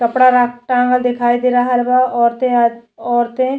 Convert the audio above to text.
कपड़ा रक टांगल दिखाई दे रहल बा औरते आ औरते --